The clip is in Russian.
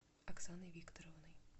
оксаной викторовной